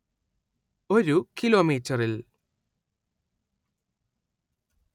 ഒരു കിലോമീറ്ററിൽ